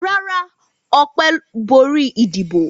Rárá, Ọpẹ́ borí ìdìbò.